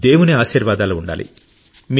దేవుని ఆశీర్వాదాలు ఉండాలి